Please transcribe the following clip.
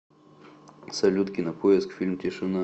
салют кинопоиск фильм тишина